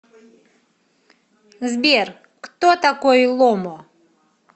сбер кто такой ломо